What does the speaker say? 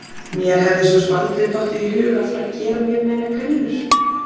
Mér hefði svo sem aldrei dottið í hug að fara að gera mér neinar grillur.